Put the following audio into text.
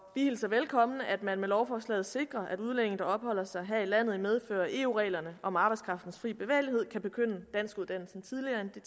hilser velkommen at man med lovforslaget sikrer at udlændinge der opholder sig her i landet i medfør af eu reglerne om arbejdskraftens fri bevægelighed kan begynde danskuddannelsen tidligere end det